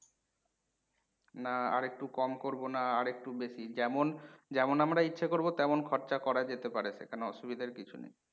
না আর একটু কম করবো না আর একটু বেশি? যেমন যেমন আমরা ইচ্ছে করবো তমান খরচা করা যেতে পারে কোনও অসুবিধার কিছু নেই।